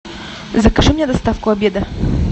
закажи мне доставку обеда